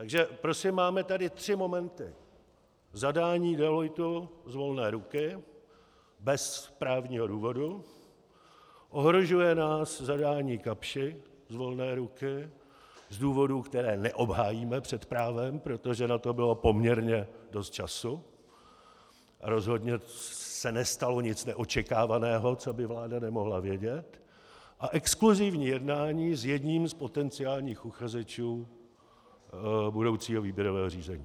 Takže prosím, máme tady tři momenty: zadání Deloittu z volné ruky bez právního důvodu, ohrožuje nás zadání Kapschi z volné ruky z důvodů, které neobhájíme před právem, protože na to bylo poměrně dost času, a rozhodně se nestalo nic neočekávaného, co by vláda nemohla vědět, a exkluzívní jednání s jedním z potenciálních uchazečů budoucího výběrového řízení.